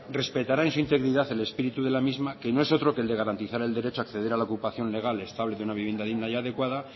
respetará en su integridad el espíritu de la misma que no es otro que el de garantizar el derecho a acceder a la ocupación legal estable de una vivienda digna y adecuada